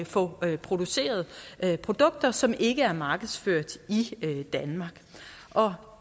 få produceret produkter som ikke er markedsført i danmark og